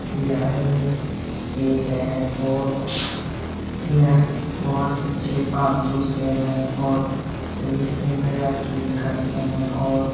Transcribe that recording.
यह एक शेर है और यह बहुत अच्छे पालतू शेर है और सभी से मजाक ये करते हैं और --